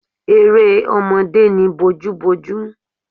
Eré ọmọdé ni bojúbojú